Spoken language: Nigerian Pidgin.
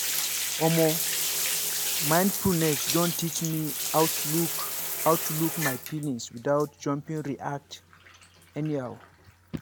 omo mindfulness don teach me how to look how to look my feelings without jumping react anyhow.